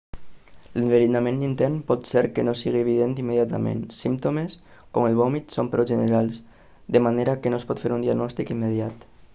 l'enverinament intern pot ser que no sigui evident immediatament símptomes com el vòmit són prou generals de manera que no es pot fer un diagnòstic immediat